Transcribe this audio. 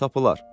tapılar.